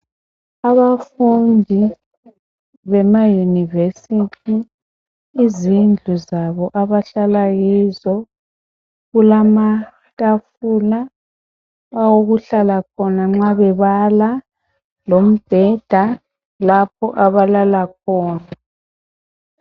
Abafundi bemayunivesithi izindlu zabo abahlala kizo. Kuletafula awokuhlala khona ma bebala, lombheda lapho abalala khona